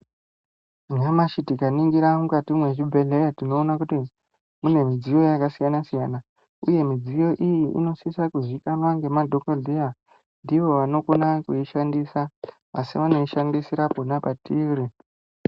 Nyamashi tikaningire mukati mezvibhedhlera tinoona kuti mune midziyo yakasiyana-siyana uye midziyo iyi inosisa kuzikanwa ngemadhogodheya, ndiwo anokona kuishandisa, asi vanoishandisira pona patiri.